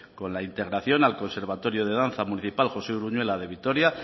con la integración al conservatorio de danza municipal josé uruñuela de vitoria